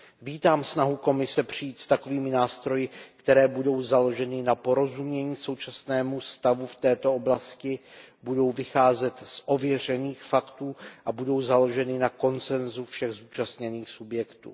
Vítám snahu Komise přijít s takovými nástroji, které budou založeny na porozumění současnému stavu v této oblasti, budou vycházet z ověřených faktů a budou založeny na konsensu všech zúčastněných subjektů.